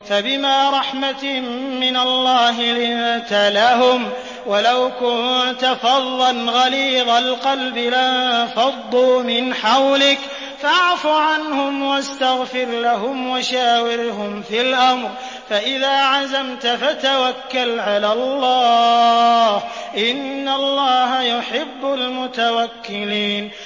فَبِمَا رَحْمَةٍ مِّنَ اللَّهِ لِنتَ لَهُمْ ۖ وَلَوْ كُنتَ فَظًّا غَلِيظَ الْقَلْبِ لَانفَضُّوا مِنْ حَوْلِكَ ۖ فَاعْفُ عَنْهُمْ وَاسْتَغْفِرْ لَهُمْ وَشَاوِرْهُمْ فِي الْأَمْرِ ۖ فَإِذَا عَزَمْتَ فَتَوَكَّلْ عَلَى اللَّهِ ۚ إِنَّ اللَّهَ يُحِبُّ الْمُتَوَكِّلِينَ